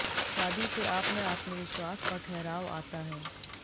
शादी से आप में आत्मविश्वास और ठहराव आता है